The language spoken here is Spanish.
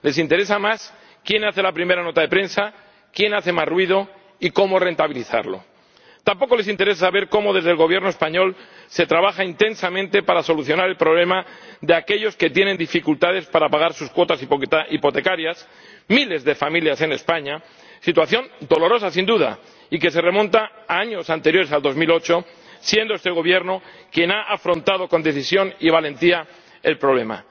Les interesa más quién publica la primera nota de prensa, quién hace más ruido y cómo rentabilizarlo. Tampoco les interesa ver cómo desde el Gobierno español se trabaja intensamente para solucionar el problema de aquellos que tienen dificultades para pagar sus cuotas hipotecarias —miles de familias en España—, situación dolorosa, sin duda, y que se remonta a años anteriores a 2008, siendo este Gobierno quien ha afrontado con decisión y valentía el problema.